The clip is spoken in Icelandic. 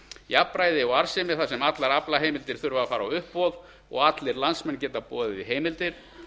jafnræði og arðsemi þar sem allar aflaheimildir þurfa að fara á uppboð og allir landsmenn geta boðið í heimildir